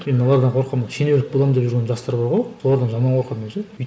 мен мыналардан қорқамын ғой шенеунік боламын деп жүрген жастар бар ғой солардан жаман қорқамын мен ше